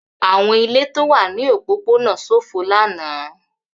Àwọn ilé tó wà ní òpópónà ṣófo lánàá.